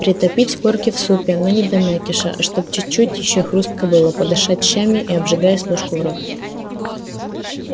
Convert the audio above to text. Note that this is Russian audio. притопить корки в супе но не до мякиша а чтоб чуть-чуть ещё хрустко было подышать щами и обжигаясь ложку в рот